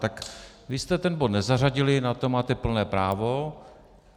Tak vy jste ten bod nezařadili, na to máte plné právo.